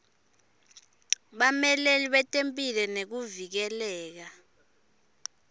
bameleli betemphilo nekuvikeleka